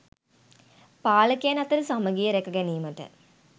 පාලකයන් අතර සමඟිය රැක ගැනීමට